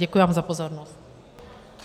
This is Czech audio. Děkuji vám za pozornost.